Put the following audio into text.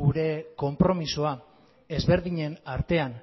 gure konpromisoa ezberdinen artean